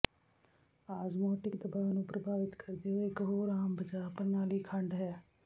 osmotic ਦਬਾਅ ਨੂੰ ਪ੍ਰਭਾਵਿਤ ਕਰਦੇ ਹੋਏ ਇਕ ਹੋਰ ਆਮ ਬਚਾਅ ਪ੍ਰਣਾਲੀ ਖੰਡ ਹੈ